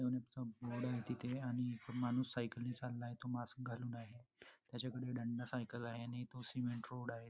तिथे आणि एक माणूस सायकलनि चाललाय तो मास्क घालून आहे त्याच्याकडे दंडा सायकल आहे आणि तो सिमेंट रोड आहे.